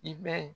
I bɛ